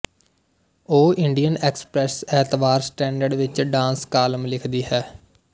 ਉਹ Indian Express ਐਤਵਾਰ Standard ਵਿੱਚ ਡਾਂਸ ਕਾਲਮ ਲਿਖਦੀ ਹੈ